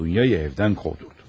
Dunyayı evden kovdurdu.